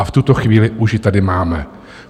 A v tuto chvíli už ji tady máme.